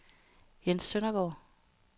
Jens Søndergaard